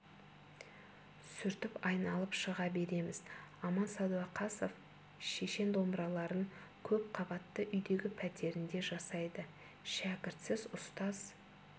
сүртіп айналып шыға береміз аман сәдуақасов шешен домбыраларын көп қабатты үйдегі пәтерінде жасайды шәкіртсіз ұстаз